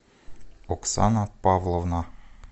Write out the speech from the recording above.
оксана павловна